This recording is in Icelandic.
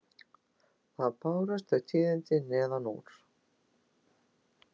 Þá bárust þau tíðindi neðan úr